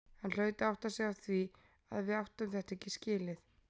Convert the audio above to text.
Hann hlaut að átta sig á því að við áttum þetta ekki skilið.